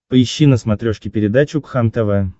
поищи на смотрешке передачу кхлм тв